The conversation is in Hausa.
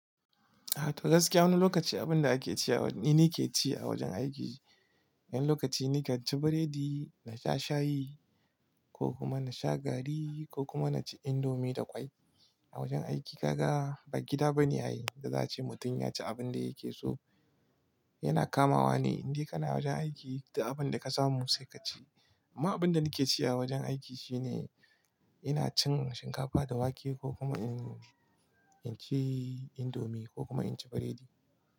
A to gaskiya wani lokaci abin da ake ciyawa ni nake ci a wajen aiki. Wani lokaci ni kan ci biredi na sha shayi ko kuma na sha garri ko kuma na ci indomi da ƙwai. A wajen aiki kaga ba gida bane a yi, da za a ce mutum ya ci abin da yake so. Yana kamawa ne, in dai kana wajen aiki da abin da ka samu sai ka ci. Amma abin da nake ci a wajen aiki shine ina cin shinkafa da wake ko kuma ina ci indomi ko kuma in ci biredi.